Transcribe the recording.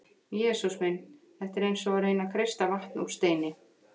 Jesús minn, þetta er eins og að reyna að kreista vatn úr steini.